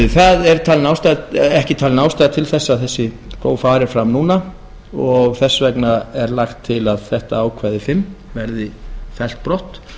það er ekki talin ástæða til þess að þessi próf fari fram núna og þess vegna er lagt til að þetta ákvæði fimm verði fellt brott